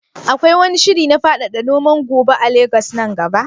Akwai wani shiri na faɗaɗa noman goba a Legas nan gaba?